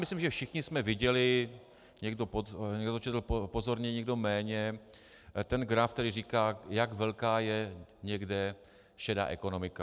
Myslím, že všichni jsme viděli - někdo to četl pozorně, někdo méně - ten graf, který říká, jak velká je někde šedá ekonomika.